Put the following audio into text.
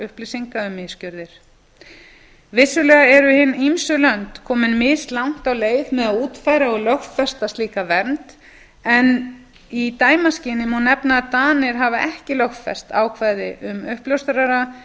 um misgjörðir vissulega eru hin ýmsu lönd komin mislangt á leið með að útfæra og lögfesta slíka vernd en í dæmaskyni má nefna að danir hafa ekki lögfest ákvæði um uppljóstrara en